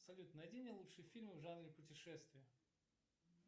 салют найди мне лучшие фильмы в жанре путешествия